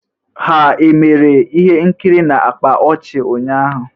Ha emere ihe nkiri na-akpa ọchị ụnyaahụ?